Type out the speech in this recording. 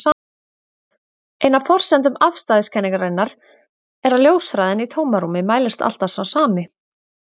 Ein af forsendum afstæðiskenningarinnar er að ljóshraðinn í tómarúmi mælist alltaf sá sami.